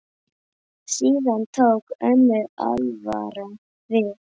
Síðan tók önnur alvara við.